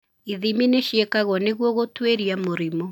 Ithimi nĩ ciĩkagwo nĩguo gũtuĩria mũrimũ